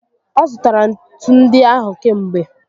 Ọzụtara ntu ndị ahụ kamgbe